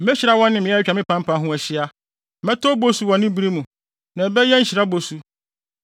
Mehyira wɔn ne mmeae a atwa me pampa ho ahyia. Mɛtɔ obosu wɔ ne bere mu, na ɛbɛyɛ nhyira bosu.